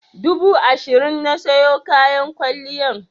Dubu ashirin na siyo kayan kwalliyan.